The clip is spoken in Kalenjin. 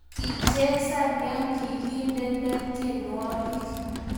Kichesan ya kokindene tyenwogik